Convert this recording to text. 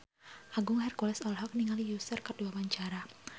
Agung Hercules olohok ningali Usher keur diwawancara